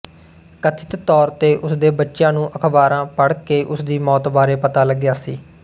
ਕਥਿਤ ਤੌਰ ਤੇ ਉਸਦੇ ਬੱਚਿਆਂ ਨੂੰ ਅਖਬਾਰਾਂ ਪੜ੍ਹ ਕੇ ਉਸਦੀ ਮੌਤ ਬਾਰੇ ਪਤਾ ਲੱਗਿਆ ਸੀ